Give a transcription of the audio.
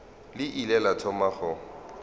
le ile la thoma go